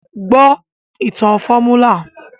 Gbọ́ ìtàn fọ́múlà!